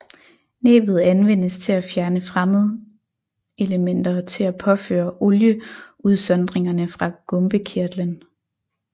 Næbbet anvendes til at fjerne fremmedelementer og til at påføre olieudsondringerne fra gumpekirtlen